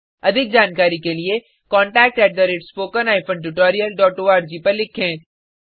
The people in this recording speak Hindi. अधिक जानकारी के लिए contact at spoken hyphen tutorial dot org पर लिखें